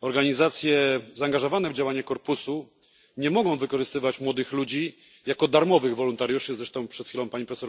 Organizacje zaangażowane w działanie Korpusu nie mogą wykorzystywać młodych ludzi jako darmowych wolontariuszy jak przed chwilą mówiła pani prof.